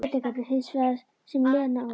Breytingarnar hins vegar sem Lena og